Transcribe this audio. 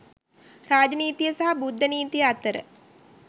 රාජ නීතිය සහ බුද්ධ නීතිය අතර